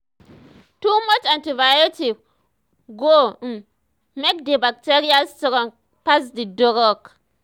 too much antibiotic um go um make um the bacteria strong pass the drug